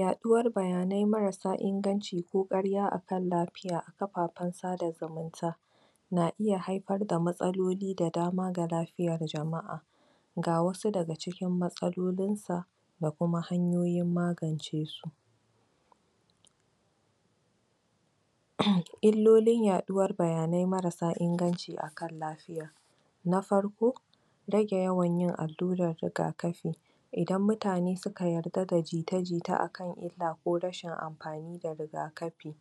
yaɗuwar bayanai maras sa inganci ko ƙarya akan lafiya a kafafan sada zumunta na iya haifar da matsaloli da dama ga la fiyar jama'a ga wasu daga cikin matsalolin sa da kuma hanyoyin magance su illolin yaɗuwar bayanai marasa inganci akan lafiya na far ko rage yawan yin allurar riga kafi idan mutane suka yarda da jite jite akan illa ko rashin anfani da rtga kafi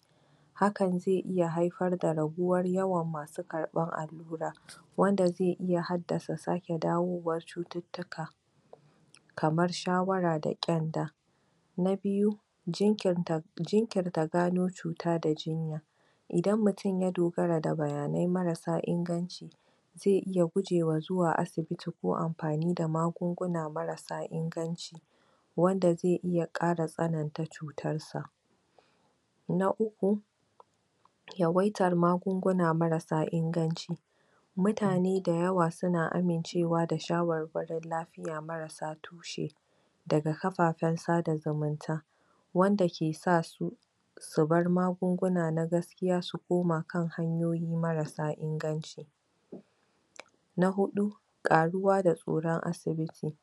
hakan zai iya haifar da raguwar yawan masu karɓar allurar wanda zai iya haddasa sake dawowan cututtuka kamar shawara da ƙyanda na biyu jinkinta jinkirta gano cuta da jinya idan mutun ya dogaea da bayanai marasa inganci zai iya guje wa zuwa asibiti ko anfani da magungun marasa inganci wanda zai iya ƙara tsananta cutar sa na uku yawattar magunguna marasa inganci mutane da yawa suna amincewa da sha warwarin lafiya marasa tushe daga kafafan sada zumunta wanda ke sa su bar magunguna na gask iya koma kan hayoyi marasa inganci na huɗu ƙaruwa tsoran asibiti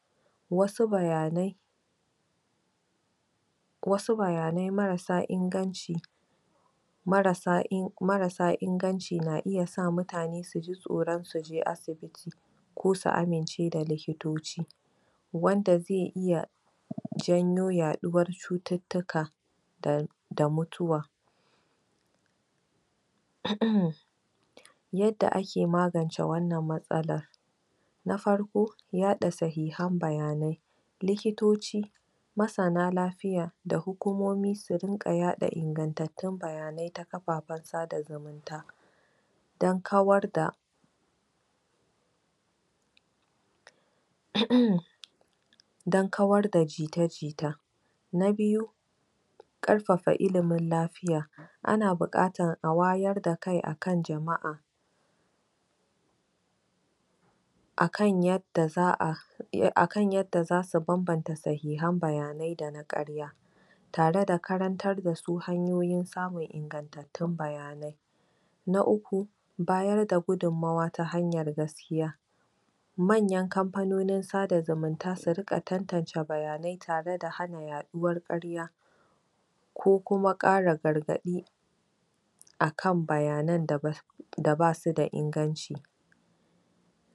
wasu bayana wasu bayanai maras a inganci marasa in marasa inganci na iya sa mutane suji tsoron su je asibiti ko su amince da likitoci wanda zai iya janyo yaƙuwar cututtuka tare da mutuwa yadda ake magance wannan matsala na farko yaɗa sahihan bayanai likitoci masana lafiya da hukumomi su rinƘa yaɗa ingantatun bayanai a kafafan sada zumunta dan kawar da dan kawar da jita jita na biyu ƙarfafa ililmin la fiya ana bukatan a wayar da kai akan jama'a akan yan da za'a e akan yanda zasu banbanta sahihan bayanai dana ƙarya tare da karartar da duk hanyoyi samun ingantattun bayanai na uku bayar dagudumawa ta hamyar gas kiya manyan kamfanonin sada zumunta suriƙa tantance bayanai tareda hanin yaɗa uwar ƙarya kokuma ƙara gargaɗi akan bayanan da da basu da inganci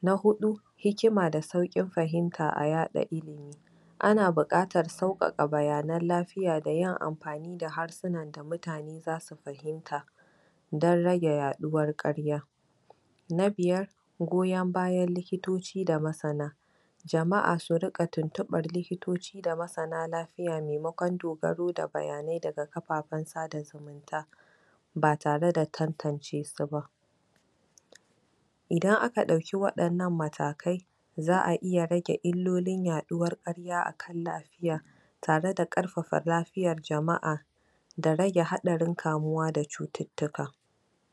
na huɗu hikima da sauƙin fahimta a yaɗa ilimi ana bukatan saukaka bayanan la fiya da yin anfani da harsunan da mutane zasu fahimta dan rage ya ɗuwar ƙarya na biyar goyon bayan likitoci da masana jama'a surinƙa tuntuɓar liktoci da mqsanq la fiya maimakon dogaro da bayanai dga kafafa ta batare da tantance suba idan aka ɗauki waɗanan matakai za'a iya rage illolim yaɗuwar ƙarya akan lafi ya tare da ƙarfafa lafiyan jama'a da rage haɗarin kamuwa da cututtuka